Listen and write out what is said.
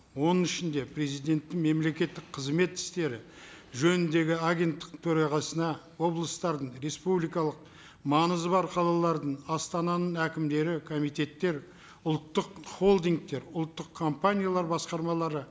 оның ішінде президенттің мемлекеттік қызмет істері жөніндегі агенттік төрағасына облыстардың республикалық маңызы бар қалалардың астананың әкімдері комитеттер ұлттық холдингтер ұлттық компаниялар басқармалары